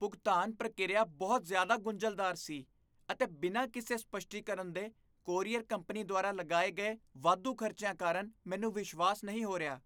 ਭੁਗਤਾਨ ਪ੍ਰਕਿਰਿਆ ਬਹੁਤ ਜ਼ਿਆਦਾ ਗੁੰਝਲਦਾਰ ਸੀ, ਅਤੇ ਬਿਨਾਂ ਕਿਸੇ ਸਪੱਸ਼ਟੀਕਰਨ ਦੇ ਕੋਰੀਅਰ ਕੰਪਨੀ ਦੁਆਰਾ ਲਗਾਏ ਗਏ ਵਾਧੂ ਖਰਚਿਆਂ ਕਾਰਨ ਮੈਨੂੰ ਵਿਸ਼ਵਾਸ ਨਹੀਂ ਹੋ ਰਿਹਾ।